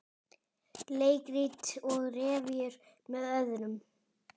Leikrit og revíur með öðrum